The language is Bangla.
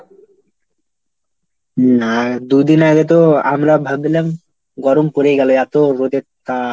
হম আর দুদিন আগে তো আমরা ভাবলাম গরম পরে গেল, এত রোদের তাপ।